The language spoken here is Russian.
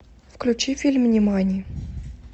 включи фильм нимани